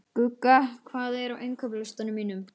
Gugga, hvað er á innkaupalistanum mínum?